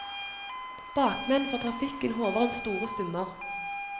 Bakmennene for trafikken håver inn store summer.